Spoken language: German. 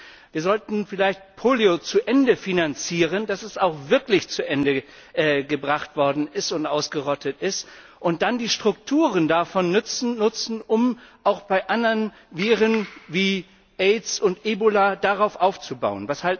Das heißt, wir sollten vielleicht Polio so lange finanzieren, bis es auch wirklich zu Ende gebracht worden und ausgerottet ist, und dann die Strukturen davon nutzen, um auch bei anderen Viren wie Aids und Ebola darauf aufzubauen.